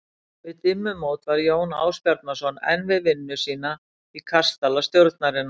Við dimmumót var Jón Ásbjarnarson enn við vinnu sína í kastala stjórnarinnar.